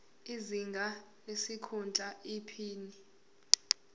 izinga lesikhundla iphini